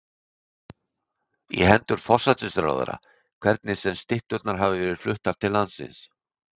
í hendur forsætisráðherra, hvernig sem stytturnar hafa verið fluttar til landsins.